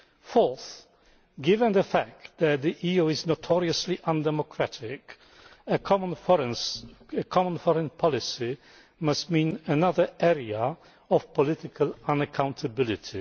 Fourthly, given the fact that the EU is notoriously undemocratic, a common foreign policy must mean another area of political unaccountability.